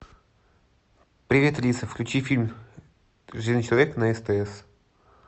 привет алиса включи фильм железный человек на стс